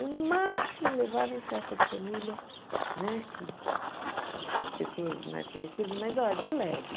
Eu, no máximo, levava em festa de família, né que pessoas mais conhecidas, mas ó de leve.